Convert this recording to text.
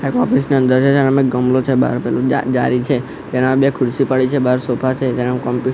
એક ઓફિસ ની અંદર છે તેનામાં એક ગમલો છે બહાર પેલું જા-જારી છે તેનામાં બે ખુરસી પડી છે બહાર સોફા છે તેનામા કોમ્પ્યુ--